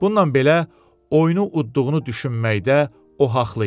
Bununla belə, oyunu udduğunu düşünməkdə o haqlı idi.